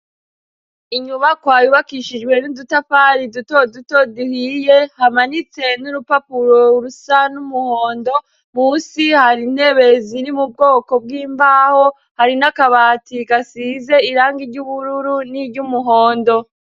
Inyubakwa yubakishijwe n'udutafari duto duto duhiye, hamanitse n'urupapuro rusa n'umuhondo; munsi hari intebe ziri mu bwoko bw'imbaho, hari n'akabati gasize irangi iry'ubururu n'iry'umuhondo.